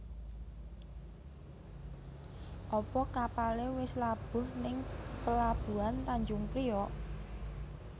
Apa kapale wis labuh ning pelabuhan Tanjung Priok?